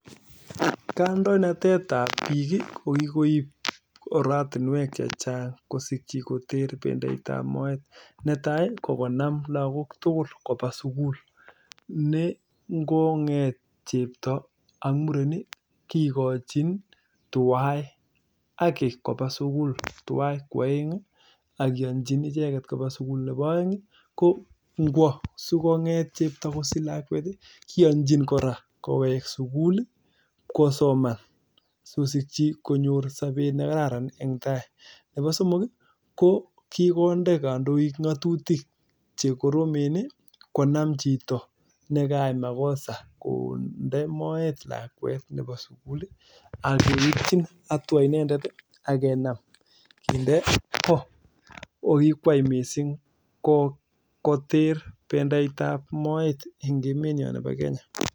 Kikonam lakok tukul koba sukul nekiname tibik ak murenik kobaa sukul akot ta chepto okasich lakwet kowekse sukul ak koraa kikonde katutik kandoik cheribe lakok ap sukul